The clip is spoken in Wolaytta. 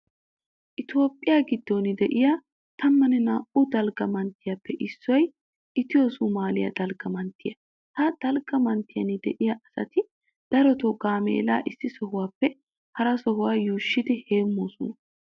Toophphiya giddon de'iya tammanne naa"u dalgga manttetuppe issoy itiyo soomaaliya dalgga manttiya. Ha dalgga manttiyan de'iya asati darotoo gaameelaa issi sohuwappe harasaa yuushshidi heemmoosona.